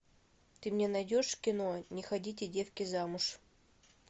ты мне найдешь кино не ходите девки замуж